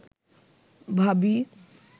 ভাবী